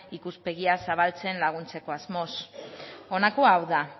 ikuspegi zabaltzen laguntzeko asmoz honako hau da